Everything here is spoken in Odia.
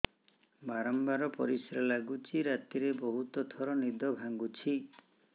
ବାରମ୍ବାର ପରିଶ୍ରା ଲାଗୁଚି ରାତିରେ ବହୁତ ଥର ନିଦ ଭାଙ୍ଗୁଛି